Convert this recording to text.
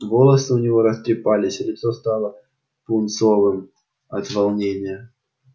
а волосы у него растрепались лицо стало пунцовым от волнения